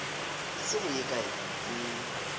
se go ye kae ke